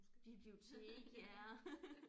Bibliotek ja